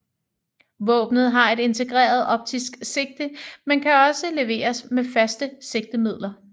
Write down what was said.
Våbnet har et integreret optisk sigte men kan også leveres med faste sigtemidler